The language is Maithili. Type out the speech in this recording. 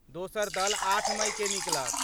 दोसर दल आठ मइकेँ निकलत।